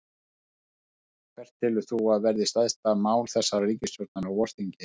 Gunnar: Hvert telur þú að verði stærsta mál þessarar ríkisstjórnar á vorþingi?